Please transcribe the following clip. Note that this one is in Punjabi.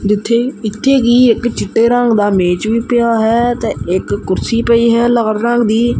ਜਿੱਥੇ ਇੱਥੇ ਕਿ ਇੱਕ ਚਿੱਟੇ ਰੰਗ ਦਾ ਮੇਜ ਵੀ ਪਿਆ ਹੈ ਤੇ ਇੱਕ ਕੁਰਸੀ ਪਈ ਹੈ ਲਾਲ ਰੰਗ ਦੀ।